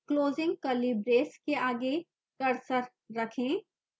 closing curly brace के आगे cursor रखें